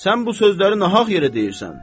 Sən bu sözləri nahaq yerə deyirsən.